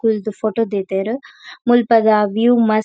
ಕುಲ್ದು photo ದೀತೆರ್ ಮುಲ್ಪದ view ಮಸ್ತ್.